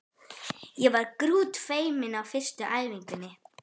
Ég var grútfeimin á fyrstu æfingunni.